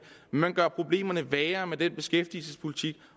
man gør problemerne værre med den beskæftigelsespolitik